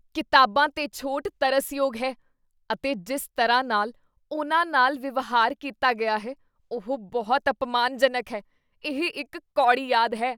ਕਿਤਾਬਾਂ 'ਤੇ ਛੋਟ ਤਰਸਯੋਗ ਹੈ ਅਤੇ ਜਿਸ ਤਰ੍ਹਾਂ ਨਾਲ ਉਨ੍ਹਾਂ ਨਾਲ ਵਿਵਹਾਰ ਕੀਤਾ ਗਿਆ ਹੈ ਉਹ ਬਹੁਤ ਅਪਮਾਨਜਨਕ ਹੈ। ਇਹ ਇੱਕ ਕੌੜੀ ਯਾਦ ਹੈ।